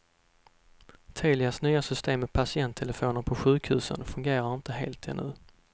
Telias nya system med patienttelefoner på sjukhusen fungerar inte helt ännu.